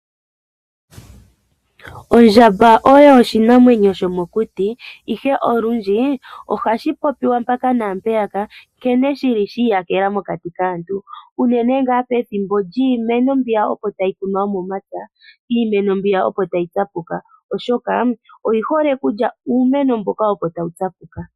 Ondjamba oyo oshinamwemyo shomokuti ihe olundji ohashi popiwa mpaka naampeyaka nkene shili shi iyakela mokati kaantu, unene ngaa pethimbo lyiimeno mbiya opo tayi kunwa yomomapya iimeno mbiya opo tayi tsapuka oshoka oyi hole okulya uumeno mboka opo tawu tsapuka.